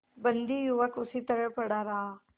बंदी युवक उसी तरह पड़ा रहा